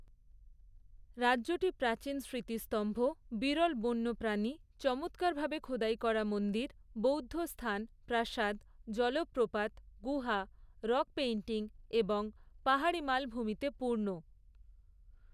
রাজ্যটি প্রাচীন স্মৃতিস্তম্ভ, বিরল বন্যপ্রাণী, চমৎকারভাবে খোদাই করা মন্দির, বৌদ্ধ স্থান, প্রাসাদ, জলপ্রপাত, গুহা, রক পেইন্টিং এবং পাহাড়ী মালভূমিতে পূর্ণ।